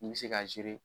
N bɛ se ka